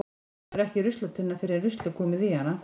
Hún verður ekki ruslatunna fyrr en rusl er komið í hana.